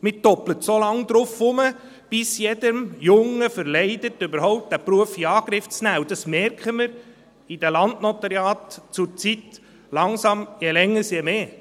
Man reitet so lange darauf herum, bis es jedem Jungen verleidet, diesen Beruf überhaupt in Angriff zu nehmen, und das merken wir in den Landnotariaten zurzeit je länger je mehr.